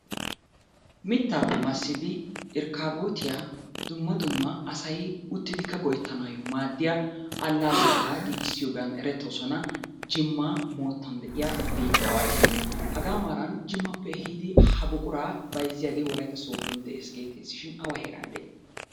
Mittaappe massidi irkkaabootiya dumma dumma asay uttidikka go'ettanaayo maaddiya allaalleta giigissiyogan erettoosona jimma heera moottan de'iya biittaawati. Hagaa maaran jimmappe ehiidi ha buquraa bayizziyagee wolayitta sooddo de'es geettesishin awa heeran de'i?